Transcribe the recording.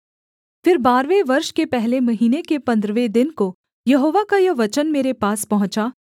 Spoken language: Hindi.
फिर बारहवें वर्ष के पहले महीने के पन्द्रहवें दिन को यहोवा का यह वचन मेरे पास पहुँचा